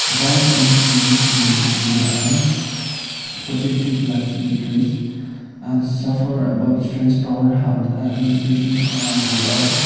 vibe in the gym seems chill and big dreams and suffer about strength power health and nutritions on the wall.